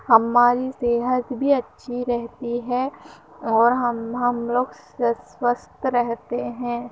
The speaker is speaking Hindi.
हमारी सेहत भी अच्छी रहती है और हम् हम लोग स्वस्त रहते हैं|